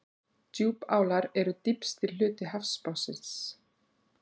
Djúpálar eru dýpsti hluti hafsbotnsins.